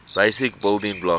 basic building blocks